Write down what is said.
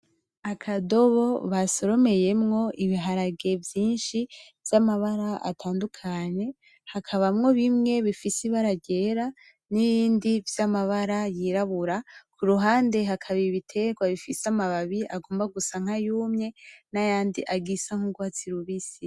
Akadobo basoromeyemwo ibiharage vyinshi vy'amabara atandukanye hakabamwo bimwe bifise ibara ryera n'ibindi vy'amabara yirabura, kuruhande hakaba ibiterwa bifise amababi agomba gusa nkayumye nayandi agisa nk'urwatsi rubisi.